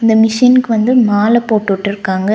இந்த மிஷின்க்கு வந்து மால போட்டுவுட்ருக்காங்க.